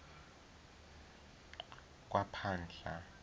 kwaphahla